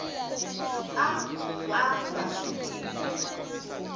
a a nga swi tivi